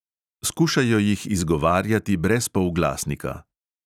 Skušajo jih izgovarjati brez polglasnika.